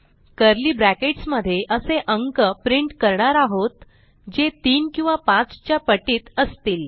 curly brackets मध्ये असे अंक प्रिंट करणार आहोत जे 3 किंवा 5 च्या पटीत असतील